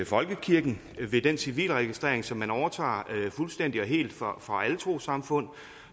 folkekirken ved den civilregistrering som man overtager fuldstændig og helt fra alle trossamfund